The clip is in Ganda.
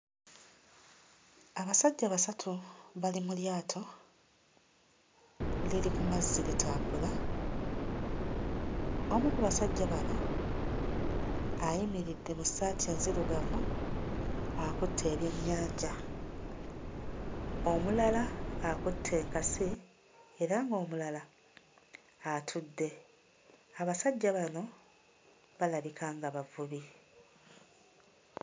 Abasajja basatu bali mu lyato liri ku mazzi litambula, omu ku basajja bano ayimiridde mu ssaati enzirugavu akutte ebyennyanja, omulala akutte enkasi era ng'omulala atudde, abasajja bano balabika nga bavubi.